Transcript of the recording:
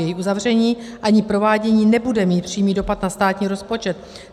Její uzavření ani provádění nebude mít přímý dopad na státní rozpočet.